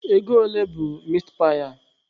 Ego ole bụ mitpaị a?